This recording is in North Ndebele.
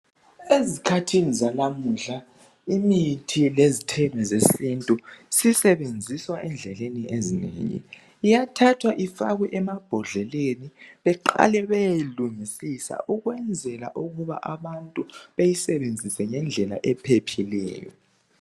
Ezikhathini zalamuhla imithi lezithelo zesintu sisebenziswa endleni ezinengi. Iyathathwa ifakwe emabhodleleni beqale beyeyilungisisa ukwenzela ukuba abantu beyisebenzise ngendlela ephephileyo.